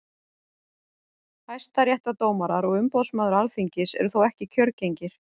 hæstaréttardómarar og umboðsmaður alþingis eru þó ekki kjörgengir